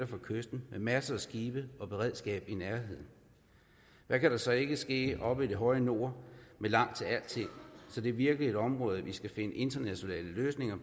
fra kysten med masser af skibe og beredskab hvad kan der så ikke ske oppe i det høje nord med langt til alting så det er virkelig et område vi skal finde internationale løsninger